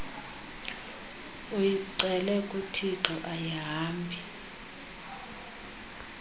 uyicele kuthixo ayihambi